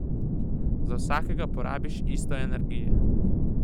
Za vsakega porabiš isto energije.